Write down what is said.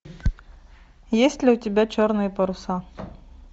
есть ли у тебя черные паруса